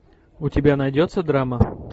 у тебя найдется драма